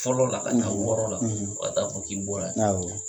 Fɔlɔ la ka na wɔɔrɔ la fo ka taa fɔ k'i bɔ la awɔ.